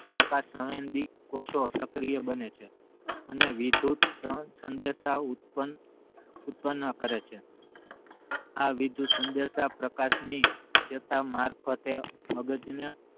પ્રકાશ સંવેદિત કોષો સક્રિય બને છે અને વિધુત નો સંદેશાઓ ઉત્પન્ન ઉત્પન્ન કરે છે આ વિધુત સંદેશ પ્રકાશ ની ચેતા મારફતે મગજ ને